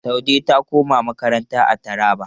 Saude ta koma makaranta a Taraba.